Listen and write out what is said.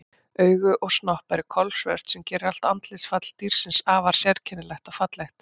Augu og snoppa eru kolsvört sem gerir allt andlitsfall dýrsins afar sérkennilegt og fallegt.